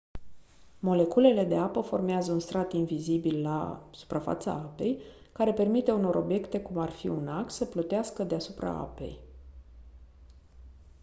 moleculele de apă formează un strat invizibil la suprafața apei care permite unor obiecte cum ar fi un ac să plutească deasupra apei